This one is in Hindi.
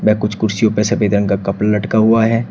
वे कुछ कुर्सियों पे सफेद रंग का कपड़ा लटका हुआ है।